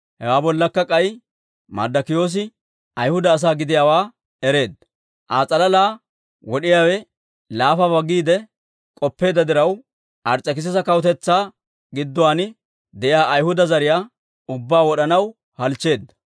Hewaa bollakka k'ay, Marddokiyoosi Ayhuda asaa gidiyaawaa ereedda; Aa s'alalaa wod'iyaawe laafabaa giide k'oppeedda diraw, Ars's'ekisisa kawutetsaa gidduwaan de'iyaa Ayhuda zariyaa ubbaa wod'anaw halchcheedda.